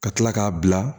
Ka kila k'a bila